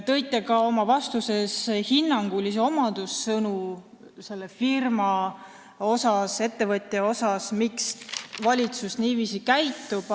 Kasutasite oma vastuses hinnangulisi omadussõnu selle ettevõtja kohta, põhjendades, miks valitsus niiviisi käitub.